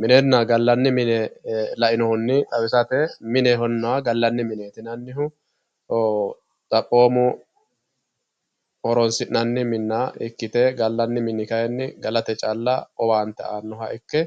minenna gallanni mine lainohunni xawisate minenna gallannni mineeti yinannihu oo xaphoommu horonsi'nanni minna ikkite gallanni mini kayiinni galate callla owaante aannoha ikke